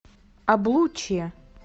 облучье